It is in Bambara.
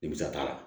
Nimisa t'a la